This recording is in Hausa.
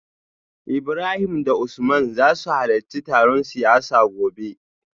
Ibrahim da Usman za su halarci taron siyasa gobe